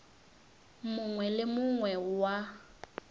mongwe le o mongwe wa